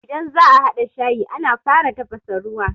Idan za'a haɗa shayi, ana fara tafasa ruwa.